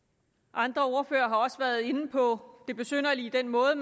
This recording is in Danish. andre ordførere har også været inde på det besynderlige i den måde